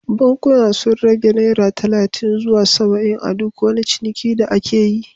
Bankunan sun rage naira talatin zuwa saba’in a duk wani ciniki da aka yi